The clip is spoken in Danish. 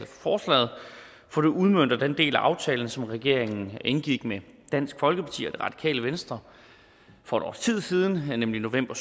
forslaget for det udmønter den del af aftalen som regeringen indgik med dansk folkeparti og det radikale venstre for et års tid siden nemlig i november